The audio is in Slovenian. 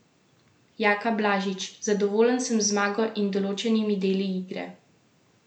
Jaka Blažič: "Zadovoljen sem z zmago in določenimi deli igre.